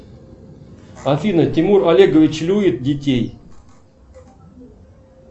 афина тимур олегович любит детей